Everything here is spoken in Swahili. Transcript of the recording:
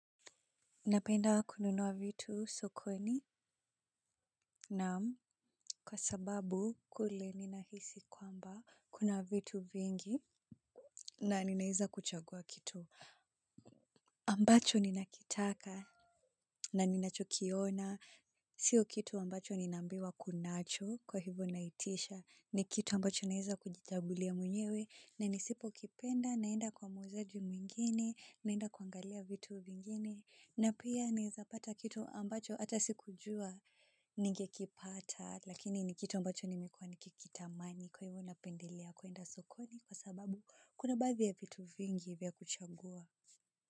Napenda kununua vitu sokoni na kwa sababu kule ninahisi kwamba kuna vitu vingi na ninaeza kuchagua kitu ambacho ninakitaka na ninachokiona, sio kitu ambacho ninambiwa kunacho kwa hivo naitisha ni kitu ambacho naeza kujichagulia mwenyewe na nisipo kipenda naenda kwa muuzaji mwingine naenda kuangalia vitu vingine na pia niza pata kitu ambacho hata sikujua. Ningekipata lakini ni kitu ambacho nimekuwa nikikitamani kwa hivyo napendelea kuenda sokoni kwa sababu kuna baadhi ya vitu vingi vya kuchagua.